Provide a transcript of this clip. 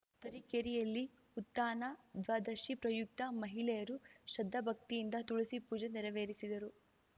ತರೀಕೆರೆಯಲ್ಲಿ ಉತ್ಧಾನ ದ್ವಾದಶಿ ಪ್ರಯುಕ್ತ ಮಹಿಳೆಯರು ಶ್ರದ್ಧಾಭಕ್ತಿಯಿಂದ ತುಳಸಿ ಪೂಜೆ ನೆರವೇರಿಸಿದರು